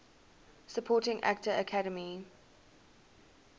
supporting actor academy